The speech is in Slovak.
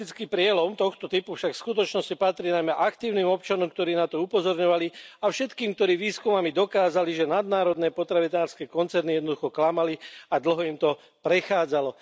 za politický prielom tohoto typu však v skutočnosti patrí najmä aktívnym občanom, ktorí na to upozorňovali, a všetkým, ktorí výskumami dokázali, že nadnárodné potravinárske koncerny jednoducho klamali a dlho im to prechádzalo.